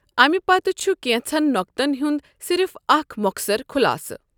اَمہِ پتہٕ چھ كینژن نوكتن ہنٛد صِرِف اَکھ مۄخصر خلاصہٕ۔